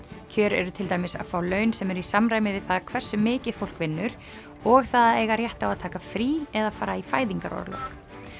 kjör eru til dæmis að fá laun sem eru í samræmi við það hversu mikið fólk vinnur og það að eiga rétt á að taka frí eða fara í fæðingarorlof